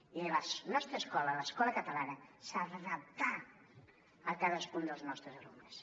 i la nostra escola l’escola catalana s’ha d’adaptar a cadascun dels nostres alumnes